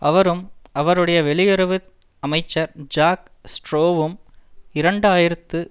அவரும் அவருடைய வெளியுறவு அமைச்சர் ஜாக் ஸ்ட்ரோவும் இரண்டு ஆயிரத்தி